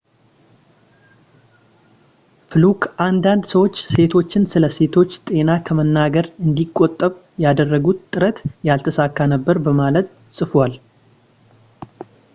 ፍሉክ አንዳንድ ሰዎች ሴቶችን ስለ ሴቶች ጤና ከመናገር እንዲቆጠብ ያደረጉት ጥረት ያልተሳካ ነበር በማለት ጽፏል